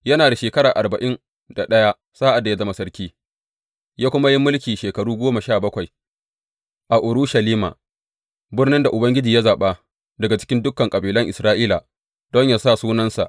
Yana da shekara arba’in da ɗaya sa’ad da ya zama sarki, ya kuma yi mulki shekaru goma sha bakwai a Urushalima, birnin da Ubangiji ya zaɓa daga cikin dukan kabilan Isra’ila don yă sa Sunansa.